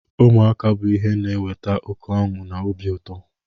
Ụmụaka bụ ihe na-eweta oke ọnụ na obi ụto.